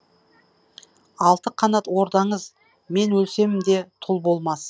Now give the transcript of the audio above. алты қанат ордаңыз мен өлсем де тұл болмас